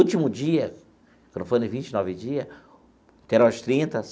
Último dia, quando foram vinte e nove dia, que eram as trinta.